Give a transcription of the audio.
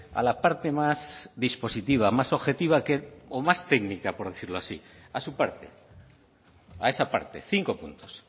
a la parte más dispositiva más objetiva que o más técnica por decirlo así a su parte a esa parte cinco puntos